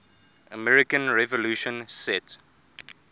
american revolution set